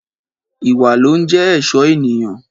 Ìwá ló ń jẹ ẹsọ ẹniyan.